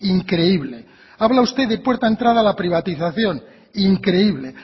increíble habla usted de puerta entrada a la privatización increíble